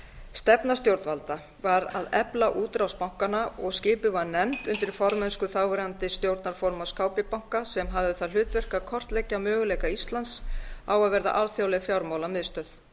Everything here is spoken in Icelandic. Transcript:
stefna stjórnvalda var að efla útrás bankanna og skipuð var nefnd undir formennsku þáverandi stjórnarformanns kb banka sem hafði það hlutverk að kortleggja möguleika íslands á að verða alþjóðleg fjármálamiðstöð